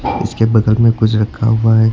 इसके बगल में कुछ रखा हुआ है।